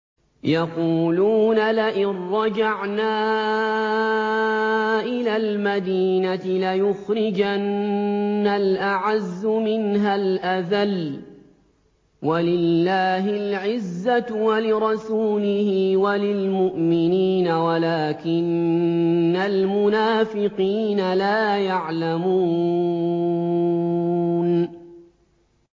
يَقُولُونَ لَئِن رَّجَعْنَا إِلَى الْمَدِينَةِ لَيُخْرِجَنَّ الْأَعَزُّ مِنْهَا الْأَذَلَّ ۚ وَلِلَّهِ الْعِزَّةُ وَلِرَسُولِهِ وَلِلْمُؤْمِنِينَ وَلَٰكِنَّ الْمُنَافِقِينَ لَا يَعْلَمُونَ